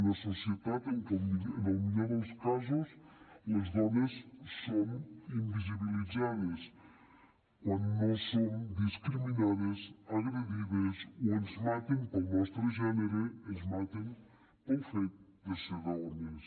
una societat en què en el millor dels casos les dones som invisibilitzades quan no som discriminades agredides o ens maten pel nostre gènere ens maten pel fet de ser dones